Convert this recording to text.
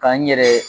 Ka n yɛrɛ